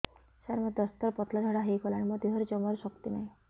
ସାର ମୋତେ ଦଶ ଥର ପତଳା ଝାଡା ହେଇଗଲାଣି ମୋ ଦେହରେ ଜମାରୁ ଶକ୍ତି ନାହିଁ